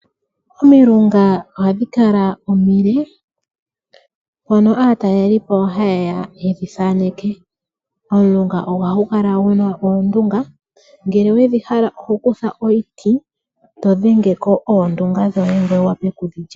Omilunga ohadhi kala omile mono aataleli po hayeya ye dhi tate omilunga ohadhi kala dhina oondunga ngele wa hala okulya oto vulu ku taga ko eto li.